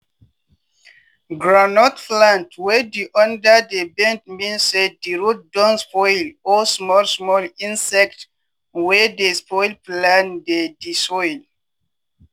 groundnut plant wey di under dey bend mean say di root don spoil or small small insect wey dey spoil plant dey di soil.